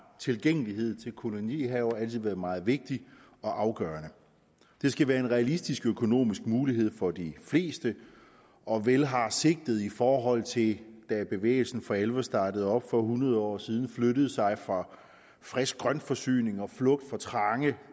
tilgængelighed til kolonihaver altid været meget vigtigt og afgørende det skal være en realistisk økonomisk mulighed for de fleste og vel har sigtet i forhold til da bevægelsen for alvor startede op for hundrede år siden jo flyttet sig fra frisk grøntforsyning og flugt fra trange